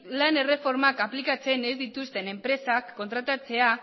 lan erreformak aplikatzen ez dituzten enpresak kontratatzea